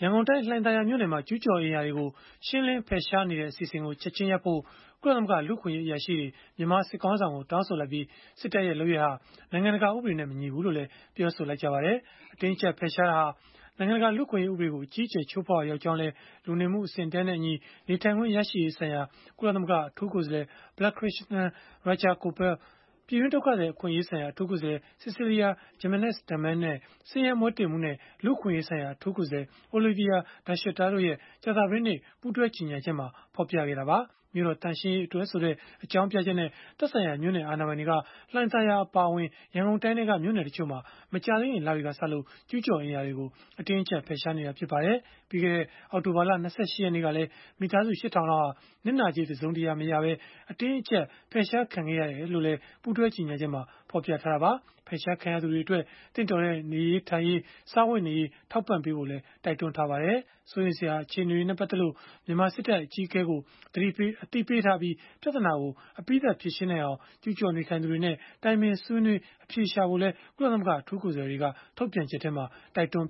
န်ကုန်တိုင်း လှိုင်သာယာမြို့နယ်မှာ ကျုးကျော်အိမ်ယာတွေကို ရှင်းလင်းဖယ်ရှားနေတဲ့ အစီအစဉ်ကို ချက်ခြင်းရပ်ဖို့ ကုလသမဂ္ဂ လူ့အခွင့်အရေး အရာရှိတွေ မြန်မာစစ်ခေါင်းဆောင်ကို တောင်းဆိုလိုက်ပြီး၊ စစ်တပ်ရဲ့ လုပ်ရပ်ဟာ နိုင်ငံတကာ ဥပဒေနဲ့ မညီဘူးလို့လည်း ပြောဆိုလိုက်ပါတယ်။ အတင်းအကျပ် ဖယ်ရှားတာဟာ နိုင်ငံတကာ လူ့အခွင့်အရေး ဥပဒေကို အကြီးအကျယ် ချိုးဖောက်ရာ ရောက်ကြောင်းလည်း လူနေမှုအဆင့်အတန်းနဲ့အညီ နေထိုင်ခွင့် ရရှိရေးဆိုင်ရာ ကုလသမဂ္ဂ အထူးကိုယ်စားလှယ် Balakrishnan Rajagopal ပြည်တွင်း ဒုက္ခသည်အခွင့်အရေးဆိုင်ရာ အထူးကိုယ်စားလှယ် Cecilia Jimenez-Damary နဲ့ ဆင်းရဲမွဲတေမှုနဲ့ လူ့အခွင့်ရေးဆိုင်ရာ အထူးကိုယ်စားလှယ် Olivier De Schutter တို့ရဲ့ ကြာသပတေးနေ့ ပူးတွဲကြေညာချက်မှာ ဖော်ပြခဲ့တာပါ။ မြို့တော်သန့်ရှင်းရေးအတွက်ဆိုတဲ့ အကြောင်းပြချက်နဲ့ သက်ဆိုင်ရာ မြို့နယ်အာဏာပိုင်တွေက လှိုင်သာယာအပါအဝင် ရန်ကုန်တိုင်းထဲက မြို့နယ်တချို့မှာ မကြာသေးခင် လတွေကစလို့ ကျုးကျော်အိမ်ယာတွေကို ဖယ်ရှားနေတာ ဖြစ်ပါတယ်။ ပြီးခဲ့တဲ့ အောက်တိုဘာလ ၂၈ ရက်နေ့ကလည်း မိသားစု ၈ ထောင်လောက်ဟာ နစ်နာကြေးတစုံတရာ မရရှိဘဲ အတင်းအကျပ် ဖယ်ရှားခံခဲ့ရကြောင်းလည်း ပူးတွဲကြေညာချက်မှာ ဖော်ပြထားတာပါ။ ဖယ်ရှားခံရသူတွေအတွက် သင့်တော်တဲ့ နေရေးထိုင်ရေး၊ စားဝတ်နေရေး ထောက်ပံ့ဖို့လည်း တိုက်တွန်းထားပါတယ်။ စိုးရိမ်စရာ အခြေအနေတွေနဲ့ ပတ်သက်လို့ မြန်မာစစ်တပ် အကြီးအကဲကို အသိပေးထားပြီး၊ ပြဿနာကို အပြီးသတ်ဖြေရှင်းနိုင်အောင် ကျုးကျော်နေထိုင်သူတွေနဲ့ တိုင်ပင်ဆွေးနွေး အဖြေရှာဖို့လည်း ကုလသမဂ္ဂ အထူးကိုယ်စားလှယ်တွေက ထုတ်ပြန်ချက်မှာ တိုက်တွန်း